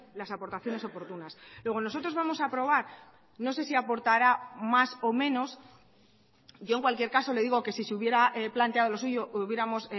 las aportaciones oportunas luego nosotros vamos a aprobar no sé si aportará más o menos yo en cualquier caso le digo que si se hubiera planteado lo suyo hubiéramos